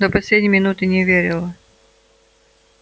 до последней минуты не верила